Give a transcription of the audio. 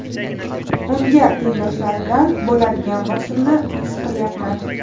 Unga tengdoshlaridan bo‘ladigan bosimni his qilyapman.